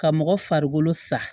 Ka mɔgɔ farikolo sa